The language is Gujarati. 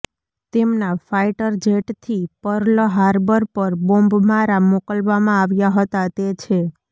તેમના ફાઇટર જેટ થી પર્લ હાર્બર પર બોમ્બમારા મોકલવામાં આવ્યા હતા તે છે